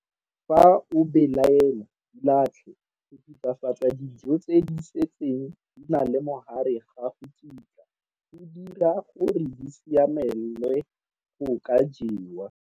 Fa o belaela, di latlhe. Go thuthafatsa dijo tse di setseng di na le mogare ga go kitla go di dira gore di siamelwe go ka jewa!